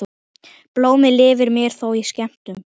Blómið lifir mér þó skemur.